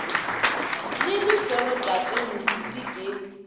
le lehono tate moruti ke